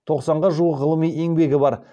тоқсанға жуық ғылыми еңбегі бар